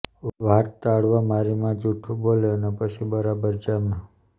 વાત ટાળવા મારી માં જુઠું બોલે અને પછી બરાબર જામે